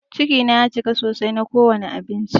Ciki na ya cika sosai na ko wani abinci.